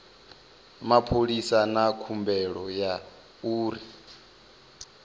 mapholisa na khumbelo ya uri